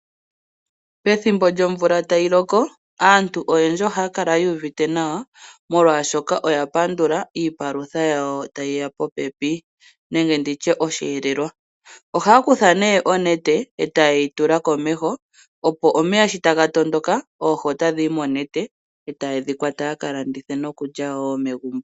Pethimbo lyomvula tayi loko aantu oyendji ohaya kala yu uvite nawa molwaashoka oya pandula iipalutha yawo tayi ya popepi nenge nditye oshielelwa ohaya kutha nee onete eta yeyi tula komeho opo omeya shi taga tondoka oohi otadhi yi monete eta ye dhi kwata yaka landithe noku lya wo megumbo.